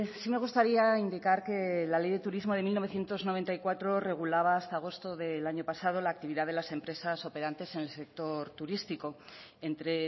sí me gustaría indicar que la ley de turismo de mil novecientos noventa y cuatro regulaba hasta agosto del año pasado la actividad de las empresas operantes en el sector turístico entre